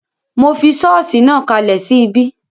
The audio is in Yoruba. Mo fi sọ́ọ̀sì náà kalẹ̀ sí ibí